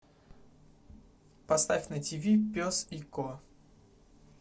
поставь на тв пес и ко